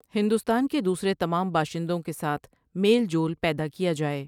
ہندوستان کے دوسرے تمام باشندوں کے ساتھ میل جول پیدا کیا جائے ۔